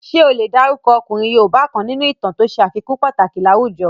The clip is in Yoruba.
Ṣé o lè dárúkọ ọkùnrin yoòbá kan nínú ìtàn to ṣe àfikún pàtàkì láwùjọ?